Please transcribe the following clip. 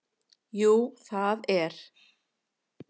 Jú það er